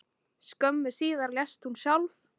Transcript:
Skömmu síðar lést hún sjálf.